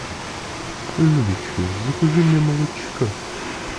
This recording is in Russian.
людочка закажи мне молочка